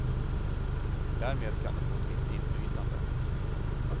Därmed kan de få ett visst inflytande.